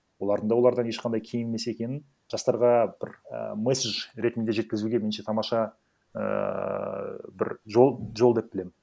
олардың да олардан ешқандай кем емес екенін жастарға бір і месседж ретінде жеткізуге меніңше тамаша ыыы бір жол жол деп білемін